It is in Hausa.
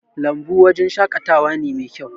lambu wajen shakatawa ne Mai kyau